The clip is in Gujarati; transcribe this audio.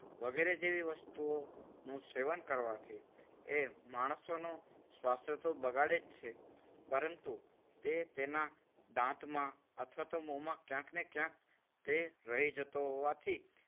વગેરે જેવી વસ્તુઓનું સેવન કરવાથી એ માણસોનું સ્વાસ્થ્ય તો બગાડે જ છે. પરંતુ, તે તેના દાંતમાં અથવા તો મોમાં ક્યાંક ને ક્યાંક તે રહી જતો હોવાથી